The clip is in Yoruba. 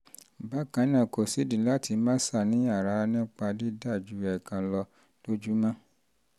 bákan náà kò sídìí láti máa ṣàníyàn rárá nípa dídà ju ẹ̀ẹ̀kan lọ um lójúmọ́ um